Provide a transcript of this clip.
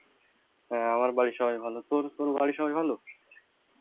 হ্যাঁ আমার বাড়ির সবাই ভালো তর তর বাড়ির সবাই ভালো?